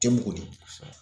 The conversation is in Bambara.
Tɛmun kɔɔni